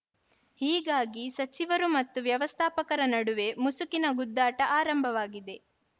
ಹೀಗಾಗಿ ಸಚಿವರು ಮತ್ತು ವ್ಯವಸ್ಥಾಪಕರ ನಡುವೆ ಮುಸುಕಿನ ಗುದ್ದಾಟ ಆರಂಭವಾಗಿದೆ